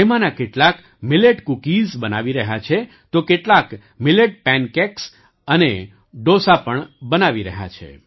તેમાંનાં કેટલાક millet cookies બનાવી રહ્યા છે તો કેટલાંક મિલેટ પૅન કેક્સ અને ડોસા પણ બનાવી રહ્યાં છે